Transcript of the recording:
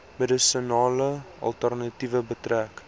medisinale alternatiewe betref